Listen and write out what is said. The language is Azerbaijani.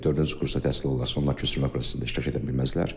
Dördüncü kursda təhsil alanlar köçürülmə prosesində iştirak edə bilməzlər.